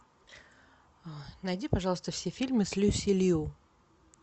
найди пожалуйста все фильмы с люси лью